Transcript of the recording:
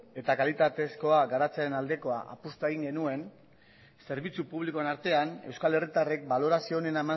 eta kalitatezkoa garatzen aldekoa apustua egin genuen zerbitzu publikoen artean euskal herritarrek balorazio honen